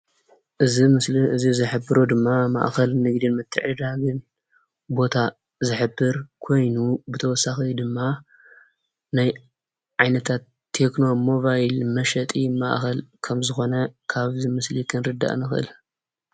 እዚ ምስሊ እዚ ዝሕብሮ ድማ ማእከል ንግድን ምትዕድዳግ ቦታ ዝሕብር ኮይኑ ብተወሳኺ ድማ ናይ ዓይነታት ቴክኖ ሞባይል መሽጢ ማእከል ከም ዝኾነ ካብዚ ምስሊ ክንርዳእ ንኽእል።